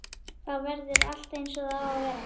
Þá verður allt eins og það á að vera.